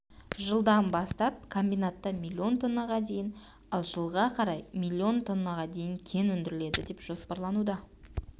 жылдан бастап комбинатта миллион тоннаға дейін ал жылға қарай миллион тоннаға дейін кен өндіріледі деп жоспарлануда